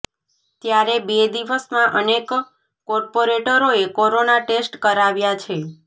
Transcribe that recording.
ત્યારે બે દિવસમાં અનેક કોર્પોરેટરોએ કોરોના ટેસ્ટ કરાવ્યા છે